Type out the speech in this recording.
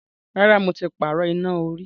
Rárá, mo ti pààrọ̀ iná orí.